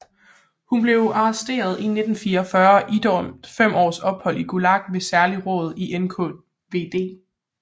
Hun blev arresteret i 1944 og idømt fem års ophold i Gulag ved et særligt råd i NKVD